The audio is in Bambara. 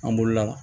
An bolola